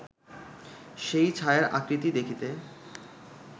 সেই ছায়ার আকৃতি দেখিতে